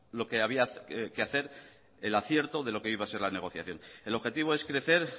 claro lo que había que hacer el acierto de lo que iba a ser la negociación el objetivo es crecer